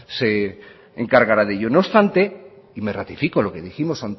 se encargará de ello no obstante y me ratifico en lo que dijimos